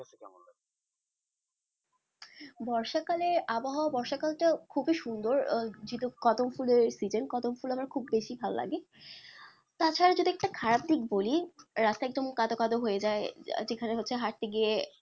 বর্ষাকালের আবহাওয়া বর্ষাকালটা খুবই সুন্দর আহ যেহেতু কদমফুলের season কদমফুল আমার খুব বেশি ভালোলাগে তাছাড়া যদি একটা খারাপ দিক বলি রাস্তা একদম কাদা কাদা হয়েযায় যেখানে হচ্ছে হাটতে গিয়ে